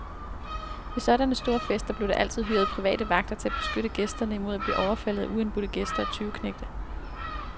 Ved sådanne store fester blev der altid hyret private vagter til at beskytte gæsterne imod at blive overfaldet af uindbudte gæster og tyveknægte.